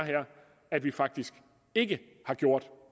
at vi faktisk ikke har gjort